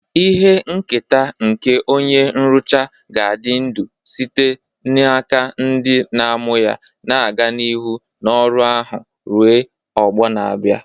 Ihe nketa nke onye nrụcha ga-adị ndụ site n'aka ndị na-amụ ya, na-aga n'ihu n'ọrụ ahụ ruo ọgbọ na-abịa.